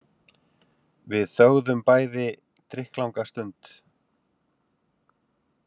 Við þögðum bæði drykklanga stund.